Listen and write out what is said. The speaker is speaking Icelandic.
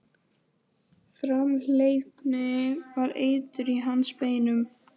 Framhleypni var eitur í hans beinum.